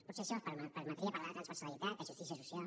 potser això els permetria parlar de transversalitat de justícia social